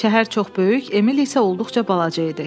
Şəhər çox böyük, Emil isə olduqca balaca idi.